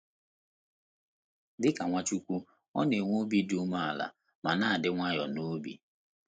Dị ka Nwachukwu, ọ na - enwe obi dị umeala ma na - adị nwayọọ n’obi.